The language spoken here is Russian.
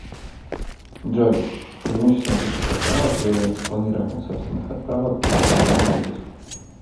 джой преимуществом каких отправок является планирование собственных отправок на определенный рейс